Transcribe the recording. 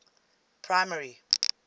primary